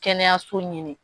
Kɛnɛyaso ɲini.